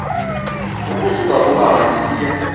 ukusuka kumama isiya